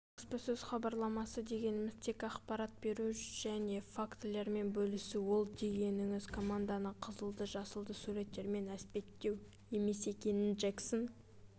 баспасөз-хабарламасы дегеніміз тек ақпарат беру және фактілермен бөлісу ол дегеніңіз команданы қызылды-жасылды суреттермен әспеттеу емес екенін джексон